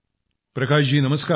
प्रकाश जी नमस्कार